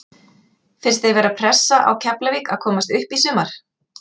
Finnst þér vera pressa á Keflavík að komast upp í sumar?